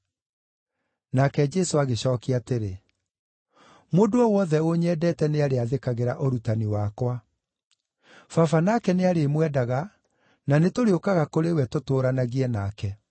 Nake Jesũ agĩcookia atĩrĩ, “Mũndũ o wothe ũnyendete nĩarĩathĩkagĩra ũrutani wakwa. Baba nake nĩarĩmwendaga, na nĩtũrĩũkaga kũrĩ we tũtũũranagie nake.